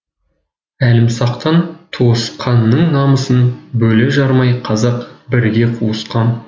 әлімсақтан туысқанның намысын бөле жармай қазақ бірге қуысқан